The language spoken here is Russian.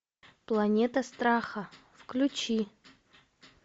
планета страха включи